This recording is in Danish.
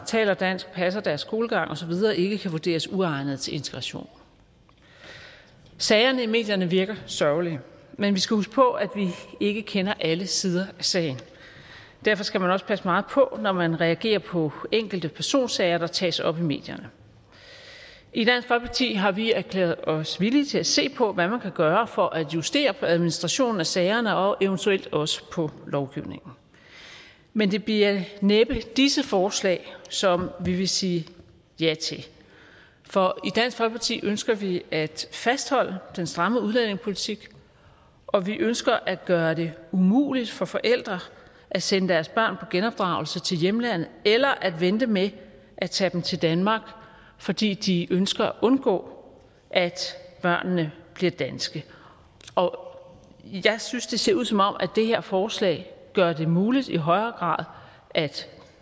taler dansk passer deres skolegang osv ikke kan vurderes uegnede til integration sagerne i medierne virker sørgelige men vi skal huske på at vi ikke kender alle sider af sagen derfor skal man også passe meget på når man reagerer på enkelte personsager der tages op i medierne i dansk folkeparti har vi erklæret os villige til at se på hvad man kan gøre for at justere på administrationen af sagerne og eventuelt også på lovgivningen men det bliver næppe disse forslag som vi vil sige ja til for i dansk folkeparti ønsker vi at fastholde den stramme udlændingepolitik og vi ønsker at gøre det umuligt for forældre at sende deres børn genopdragelse til hjemlandet eller at vente med at tage dem til danmark fordi de ønsker at undgå at børnene bliver danske og og jeg synes det ser ud som om det her forslag gør det muligt i højere grad